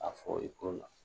A fɔ i ko na